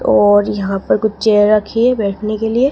और यहां पर कुछ चेयर रखी हैं बैठने के लिए।